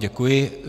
Děkuji.